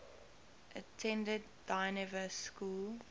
attended dynevor school